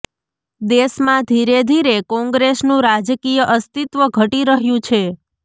દેશમાં ધીરે ધીરે કોંગ્રેસનું રાજકીય અસ્તિત્વ ઘટી રહ્યું છે